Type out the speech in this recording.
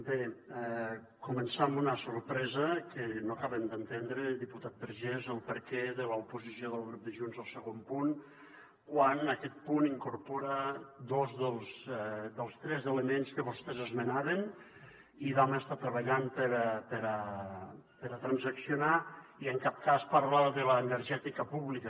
bé començar amb una sorpresa que no acabem d’entendre diputat vergés el perquè de l’oposició del grup de junts al segon punt quan aquest punt incorpora dos dels tres elements que vostès esmenaven i vam estar treballant per a transaccionar i en cap cas parla de l’energètica pública